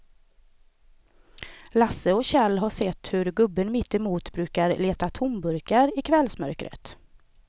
Lasse och Kjell har sett hur gubben mittemot brukar leta tomburkar i kvällsmörkret.